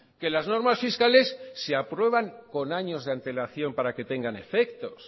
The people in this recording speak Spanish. que las normas fiscales se aprueban con años de antelación para que tengan efectos